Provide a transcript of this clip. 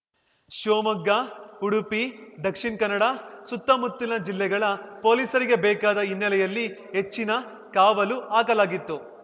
ಶಿವಮೊಗ್ಗ ಉಡುಪಿ ದಕ್ಷಿಣ್ ಕನ್ನಡ ಸುತ್ತಮುತ್ತ ಜಿಲ್ಲೆಗಳ ಪೊಲೀಸರಿಗೆ ಬೇಕಾದ ಹಿನ್ನೆಲೆಯಲ್ಲಿ ಹೆಚ್ಚಿನ ಕಾವಲು ಹಾಕಲಾಗಿತ್ತು